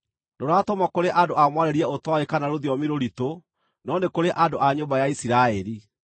Ndũratũmwo kũrĩ andũ a mwarĩrie ũtooĩ kana rũthiomi rũritũ, no nĩ kũrĩ andũ a nyũmba ya Isiraeli;